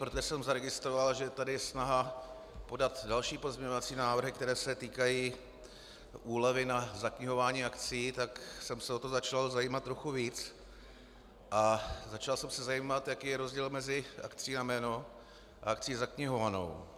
Protože jsem zaregistroval, že je tady snaha podat další pozměňovací návrhy, které se týkají úlevy na zaknihování akcií, tak jsem se o to začal zajímat trochu víc a začal jsem se zajímat, jaký je rozdíl mezi akcií na jméno a akcií zaknihovanou.